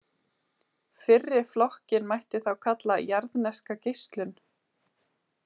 Fyrri flokkinn mætti þá kalla jarðneska geislun.